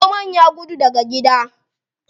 Zomon ya gudu daga gida.